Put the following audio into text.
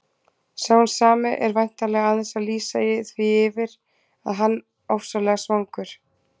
Sá hinn sami er væntanlega aðeins að lýsa því yfir að hann ofsalega svangur.